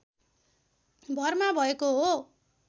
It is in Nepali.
भरमा भएको हो